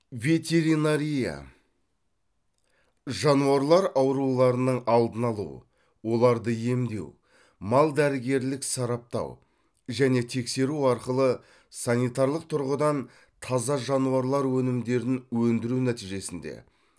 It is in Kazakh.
ветеринария жануарлар ауруларының алдын алу оларды емдеу мал дәрігерлік сараптау және тексеру арқылы санитарлық тұрғыдан таза жануарлар өнімдерін өндіру нәтижесінде